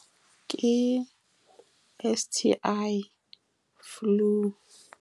Ke S_T_I, flu.